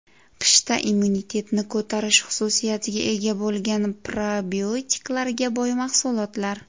Qishda immunitetni ko‘tarish xususiyatiga ega bo‘lgan probiotiklarga boy mahsulotlar.